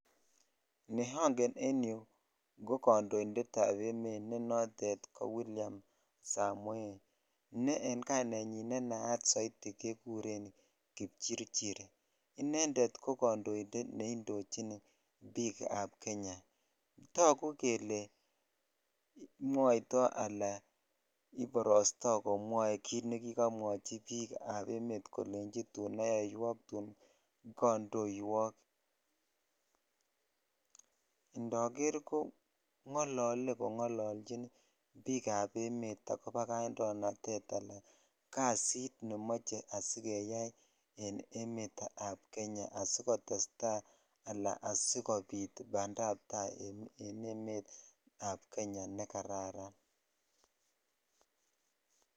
Ne ongen en yuu ko kondoinded ab emet ne motet ko William samoei ne en kainenyin ne naat soiti ke kuren pikchirchir inended ko kondoinded bik ab Kenya tagu jele mwaiti ala iborotoi komwoe kit nekikomwochi bik ab emet kolei tun ayoywok tun kodowok (puse) indoger ko ngolole kongolochin bik ab emet akobo kaindoinaded ala kasit nemoche asigeyai en emey ab Kenya asikotetai ala asikobit asikobin bandap tai en emet ab Kenya ne kararan.